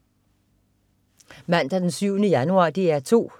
Mandag den 7. januar - DR 2: